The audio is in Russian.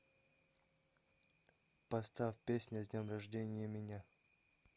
поставь песня с днем рождения меня